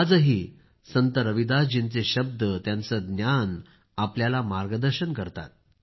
आजही संत रविदास जींचे शब्द त्यांचे ज्ञान आपल्याला मार्गदर्शन करतात